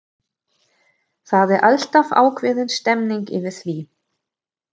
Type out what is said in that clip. Það er alltaf ákveðin stemmning yfir því.